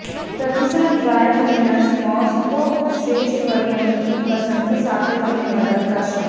પ્રતિસાદ dry cleaners Moscow શ્રેષ્ઠ વેરિઅન્ટની પસંદગી સાથે તમને મદદ કરશે